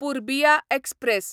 Purbiya express